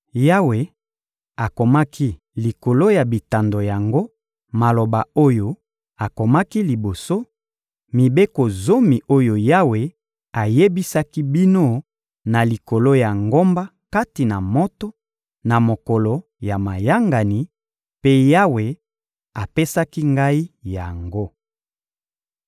Yawe akomaki likolo ya bitando yango maloba oyo akomaki liboso: mibeko zomi oyo Yawe ayebisaki bino na likolo ya ngomba kati na moto, na mokolo ya mayangani; mpe Yawe apesaki ngai yango.